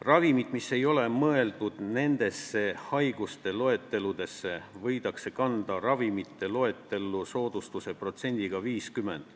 Ravimid, mis ei ole mõeldud nendesse haiguste loeteludesse, võidakse kanda ravimite loetellu soodustuse protsendiga 50.